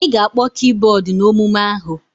Ị ga-akpọ kibọọdụ n'omume ahụ!